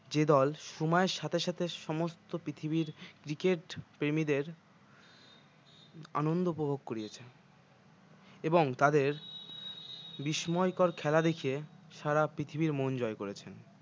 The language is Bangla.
যে দল সময়ের সাথে সাথে সমস্ত পৃথিবীর cricket প্রেমিদের আনন্দ উপভোগ করিয়েছে এবং তাদের বিস্ময়কর খেলা দেখিয়ে সারা পৃথিবীর মন জয় করেছে।